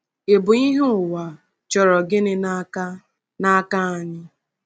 Ịbụ ìhè ụwa chọrọ gịnị n’aka n’aka anyị?